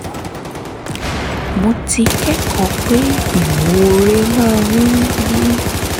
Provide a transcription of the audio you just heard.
mo ti kẹ́kọ̀ọ́ pé ìmoore máa ń yí